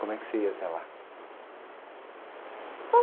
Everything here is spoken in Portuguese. Como é que você ia até lá?